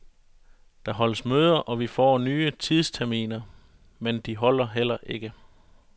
Der holdes møder, og vi får nye tidsterminer, men de holder heller ikke.